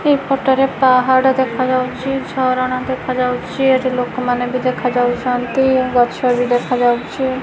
ଏ ପଟରେ ପାହାଡ ଦେଖାଯାଉଚି ଝରଣା ଦେଖାଯାଉଚି ଏଠି ଲୋକମାନେ ବି ଦେଖାଯାଉଚନ୍ତି ଗଛବି ଦେଖାଯାଉଚି।